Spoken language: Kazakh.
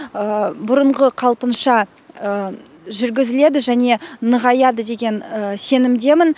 бұрынғы қалпынша жүргізіледі және нығаяды деген сенімдемін